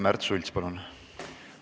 Märt Sults, palun!